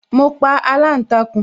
Mo pa aláǹtakùn